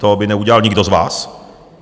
To by neudělal nikdo z vás.